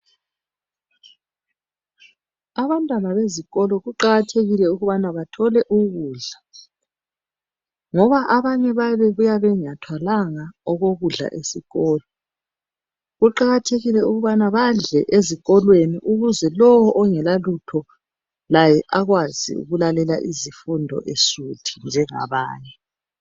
Abantwana bezikolo kuqakathekile ukubana bathole ukudla ngoba abanye babuya bengathwalanga okokudla esikolo kuqakathekile ukubana badle ezikolweni ukuze lowo ongelalutho laye ekwazi ukulalela izifundo esuthi njengabanye.